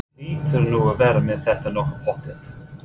Þú hlýtur nú að vera með þetta nokkuð pottþétt?